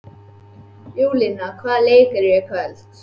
Júlíana, hvaða leikir eru í kvöld?